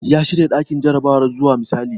Ya shirya ɗakin jarabawar zuwa misali.